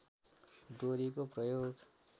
डोरीको प्रयोग